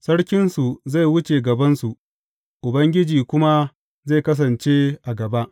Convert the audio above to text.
Sarkinsu zai wuce gabansu, Ubangiji kuma zai kasance a gaba.